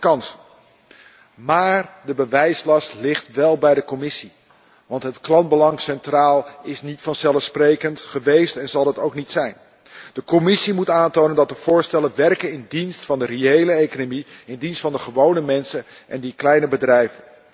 Dat zijn kansen maar de bewijslast ligt wel bij de Commissie, want dat het belang van de klant centraal staat, is niet vanzelfsprekend geweest en zal het ook niet zijn. De Commissie moet aantonen dat de voorstellen werken in dienst van de reële economie, in dienst van de gewone mensen en die kleine bedrijven.